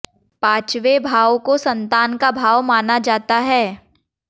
पाचंवे भाव को संतान का भाव माना जाता है